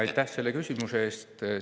Aitäh selle küsimuse eest!